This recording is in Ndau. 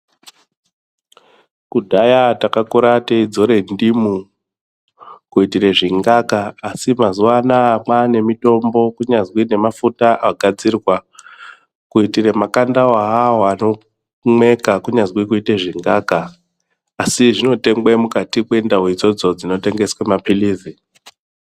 Kudhaya takakura teidzora ndimi kuitire zvingaka asi mazuwanaya kwane mitombo kunyazwi ngemafuta agazirwa kuitire makandawo awawo anomweka kunyazwi kuite zvingaka. Asi zvinotengwe mukati mwendau idzodzo dzinotengwe maphilizi.